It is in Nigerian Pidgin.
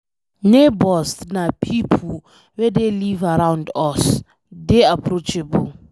Neigbours na pipo wey dey live around us, dey approachable